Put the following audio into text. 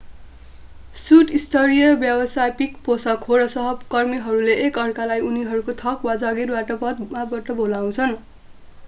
suit स्तरीय व्यवसायिक पोशाक हो र सहकर्मीहरूले एक अर्कालाई उनीहरूको थर वा जागिरको पदबाट बोलाउछन्